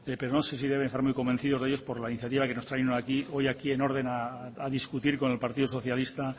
pero no sé si deben estar muy convencidos a ellos por la iniciativa que nos han traído hoy aquí en orden a discutir con el partido socialista